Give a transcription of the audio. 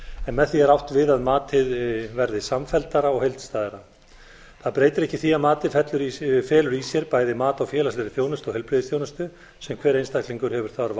en með því er átt við að matið verði samfelldara og heildstæðara það breytir ekki því að matið felur í sér bæði mat á félagslegri þjónustu og heilbrigðisþjónustu sem hver einstaklingur hefur þörf